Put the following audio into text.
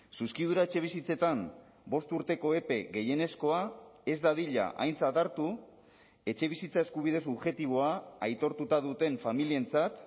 zuzkidura etxebizitzetan bost urteko epe gehienezkoa ez dadila aintzat hartu etxebizitza eskubide subjektiboa aitortuta duten familientzat